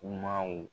Kumaw